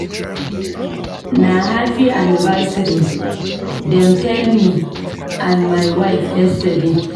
Na 'happy anniversary' dem tell me and my wife yesterday.